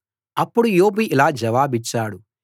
అప్పుడు యోబు ఇలా జవాబిచ్చాడు